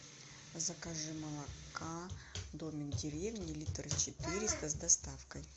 закажи молока домик в деревне литр четыреста с доставкой